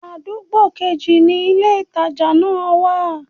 Àdúgbò kejì ni ilé-ìtàjà náà wa